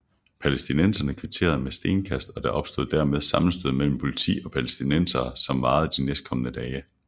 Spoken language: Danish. Palæstinenserne kvitterede med stenkast og der opstod dermed sammenstød mellem Politi og Palæstinenserne som varede de næstkomne dage